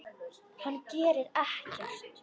Hann gerir ekkert.